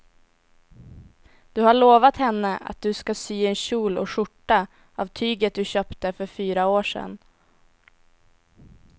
Du har lovat henne att du ska sy en kjol och skjorta av tyget du köpte för fyra år sedan.